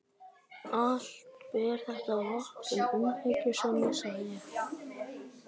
Allt ber þetta vott um umhyggjusemi, sagði ég.